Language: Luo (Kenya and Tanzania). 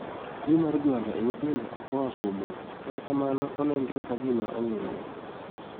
. Tuo mar jwalo e nyithindo okoa kuom wat, kata kamano onenore ka gima ong'ere